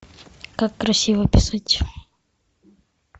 как красиво писать